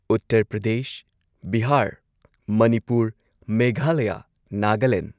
Uttar Pradesh Bihar Manipur Meghalaya Nagaland